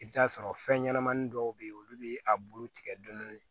I bɛ t'a sɔrɔ fɛn ɲɛnamani dɔw bɛ ye olu bɛ a bulu tigɛ dɔɔni